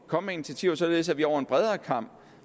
komme med initiativer således at vi over en bredere kam